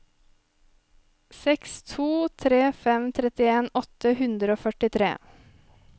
seks to tre fem trettien åtte hundre og førtitre